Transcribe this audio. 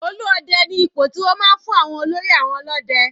Olú Ọdẹ ni ipò tí wọ́n máa ń fún olórí àwọn ọlọ́dẹ.